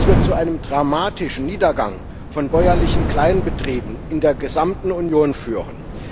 Dies wird zu einem dramatischen Niedergang von bäuerlichen Kleinbetrieben in der gesamten Union führen.